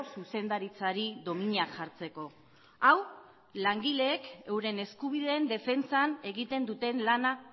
zuzendaritzari dominak jartzeko hau langileek euren eskubideen defentsan egiten duten lana